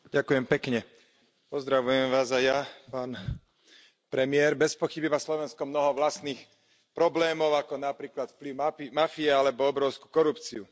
Vážený pán predseda, pozdravujem Vás aj ja, pán premiér, bezpochyby má Slovensko mnoho vlastných problémov, ako napríklad vplyv mafie alebo obrovskú korupciu.